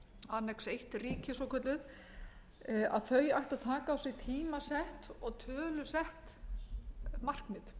iðnríkjum annað eins ríkjum svokölluðum að þau ættu að taka á sig tímasett og tölusett markmið